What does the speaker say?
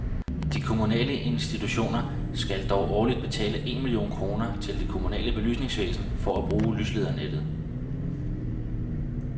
De kommunale institutioner skal dog årligt betale en million kroner til det kommunale belysningsvæsen for at bruge lysledernettet.